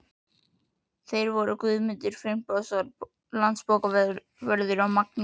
Þeir voru Guðmundur Finnbogason landsbókavörður og Magnús